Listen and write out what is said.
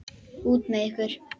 Út með ykkur!